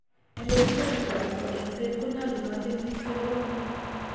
Endoscopic anan ko eng'set konyalunat en bik che koromen